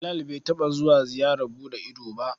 Bilal bai taɓa zuwa ziyarar buɗe ido ba.